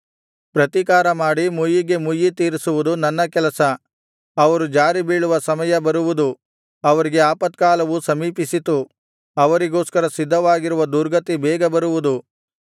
ಪ್ರತಿಕಾರಮಾಡಿ ಮುಯ್ಯಿಗೆ ಮುಯ್ಯಿ ತೀರಿಸುವುದು ನನ್ನ ಕೆಲಸ ಅವರು ಜಾರಿ ಬೀಳುವ ಸಮಯ ಬರುವುದು ಅವರಿಗೆ ಆಪತ್ಕಾಲವು ಸಮೀಪಿಸಿತು ಅವರಿಗೋಸ್ಕರ ಸಿದ್ಧವಾಗಿರುವ ದುರ್ಗತಿ ಬೇಗ ಬರುವುದು